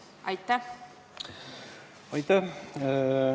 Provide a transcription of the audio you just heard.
Aitäh!